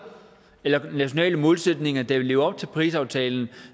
eller nationale målsætninger der vil leve op til parisaftalen